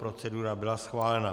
Procedura byla schválena.